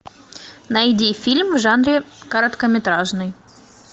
найди фильм в жанре короткометражный